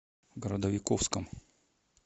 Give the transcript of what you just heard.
городовиковском